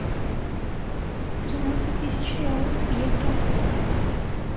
тринадцать тысяч реалов в евро